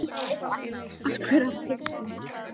askur af þyrni